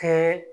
Kɛ